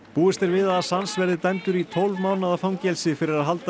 búist er við að Assange verði dæmdur í tólf mánaða fangelsi fyrir að halda